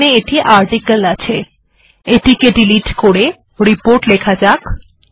এখানে এটি আর্টিকল আছে এটিকে ডিলিট করা যাক এবং এখানে রিপোর্ট লেখা যাক